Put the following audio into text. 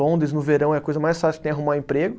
Londres, no verão, é a coisa mais fácil que tem arrumar emprego.